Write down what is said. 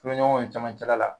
Kulon ɲɔgɔn ye camancɛla la.